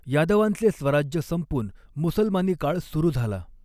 यादवांच़े स्वराज्य संपून मुसलमानी काळ सुरू झ़ाला.